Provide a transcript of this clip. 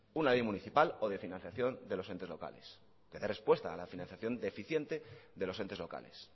una ley municipal o de financiación de los entes locales de respuesta a la financiación deficiente de los entes locales